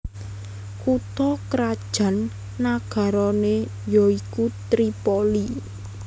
Kutha krajan nagarané ya iku Tripoli